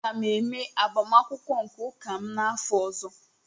Aga m eme agbamakwụkwọ nke ụka m n'afọ ọzọ